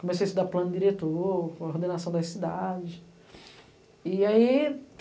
Comecei a estudar plano diretor, ordenação das cidades. E aí,